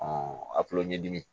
a kulo ɲɛdimi